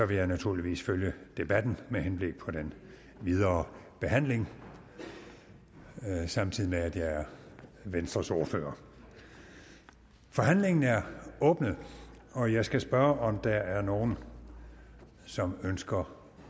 vil jeg naturligvis følge debatten med henblik på den videre behandling samtidig med at jeg er venstres ordfører forhandlingen er åbnet og jeg skal spørge om der er nogen som ønsker